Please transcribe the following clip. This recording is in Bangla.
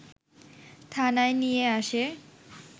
থানায় নিয়ে আসে